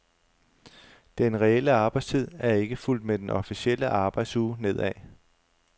Den reelle arbejdstid er ikke fulgt med den officielle arbejdsuge nedad.